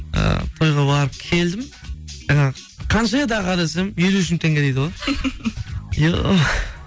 і тойға барып келдім жаңағы қанша еді аға десем елу үш мың теңге дейді ғой